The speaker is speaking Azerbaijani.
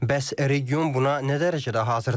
Bəs region buna nə dərəcədə hazırdır?